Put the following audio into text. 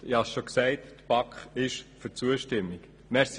Wie erwähnt, spricht sich die BaK für die Zustimmung aus.